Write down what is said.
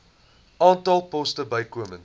aantal poste bykomend